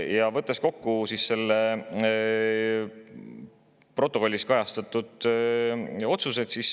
Ja võtan kokku protokollis kajastatud otsused.